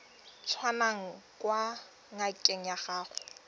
tswang kwa ngakeng ya gago